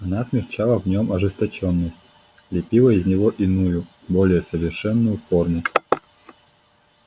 она смягчала в нём ожесточённость лепила из него иную более совершенную форму